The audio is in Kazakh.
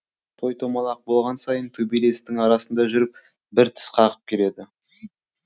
той томалақ болған сайын төбелестің арасында жүріп бір тіс қағып келеді